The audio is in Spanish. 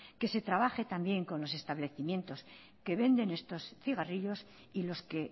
que se trabaje también con los establecimientos que venden estos cigarrillos y los que